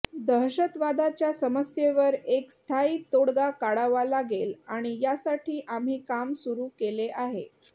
दहशतवादाच्या समस्येवर एक स्थायी तोडगा काढावा लागेल आणि यासाठी आम्ही काम सुरू केले आहे